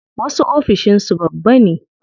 Wasu ofishin su babba ne.